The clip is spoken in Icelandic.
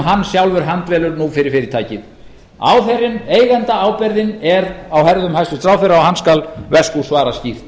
hann sjálfur handvelur nú fyrir fyrirtækið ábyrgðin eigendaábyrgðin er á herðum hæstvirtur ráðherra og hann skal veskú svara skýrt